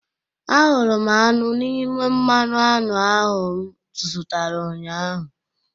Ahụrụ m aṅụ n'ime mmanụ aṅụ ahụ m zụtara ụnyahụ